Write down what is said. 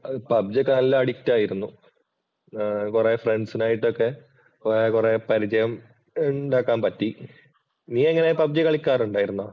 PUBG ഒക്കെ നല്ല addict ആയിരുന്നു കുറെ ഫ്രണ്ട്സിനായിട്ടു ഒക്കെ കൊറേ കൊറേ പരിചയമുണ്ടാക്കാൻ പറ്റി. നീയെങ്ങനെ പബ്ജി കളിക്കാറുണ്ടായിരുന്നോ?